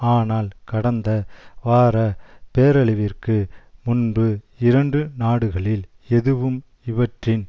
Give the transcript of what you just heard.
ஆனால் கடந்த வார பேரழிவிற்கு முன்பு இரண்டு நாடுகளில் எதுவும் இவற்றின்